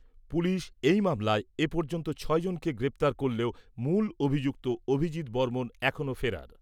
Police, এই মামলায় এ পর্যন্ত ছয় জনকে গ্রেপ্তার করলেও মূল অভিযুক্ত অভিজিৎ বর্মণ এখনও ফেরার।